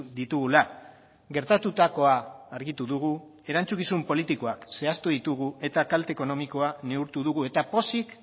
ditugula gertatutakoa argitu dugu erantzukizun politikoak zehaztu ditugu eta kalte ekonomikoa neurtu dugu eta poz